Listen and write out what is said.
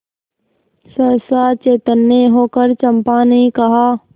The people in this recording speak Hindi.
सहसा चैतन्य होकर चंपा ने कहा